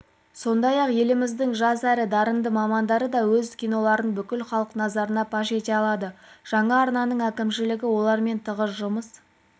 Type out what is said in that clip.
сондай-ақ еліміздің жас әрі дарынды мамандары да өз киноларын бүкіл халық назарына паш ете алады жаңа арнаның әкімшілігі олармен тығыз жұмыс